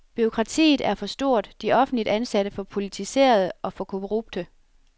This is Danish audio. Bureaukratiet er for stort, de offentligt ansatte for politiserede og for korrupte.